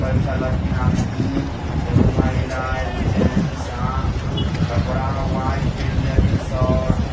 bike चला खिन आदमी एगो महिला एगो जेन्ट्स अ कपड़ा व्हाइट पेहनले हकिन शर्ट --